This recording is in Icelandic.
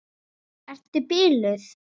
Ertu biluð!